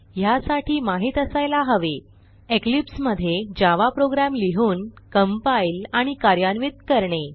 ह्यासाठी माहित असायला हवे इक्लिप्स मधे javaप्रोग्रॅम लिहून कंपाईल आणि कार्यान्वित करणे